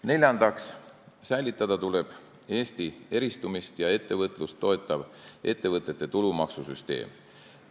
Neljandaks, säilitada tuleb Eesti eristumist ja ettevõtlust toetav ettevõtete tulumaksu süsteem.